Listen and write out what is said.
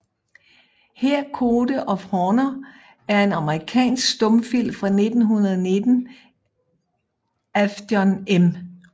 Her Code of Honor er en amerikansk stumfilm fra 1919 af John M